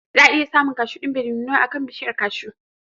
Za a iya samun kashu ɗin da bai nuna ba a kan bishiyar kashu